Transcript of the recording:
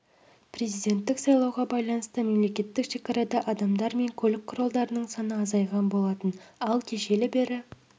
президенттік сайлауға байланысты мемлекеттік шекарада адамдар мен көлік құралдарының саны азайған болатын ал кешелі бері